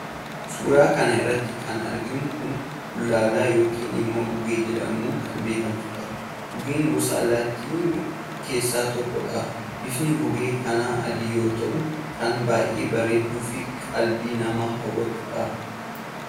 suuraa kana irratti kan arginu kun bullaallaa yookiin immoo gugee jedhamuun kan beekamtu dha. gugeen gosa allaattiiwwanii keessaa tokko dha. bifni gugee kana adii yoo ta'u kan baay'ee bareedduufi qalbii namaa hawwattudha.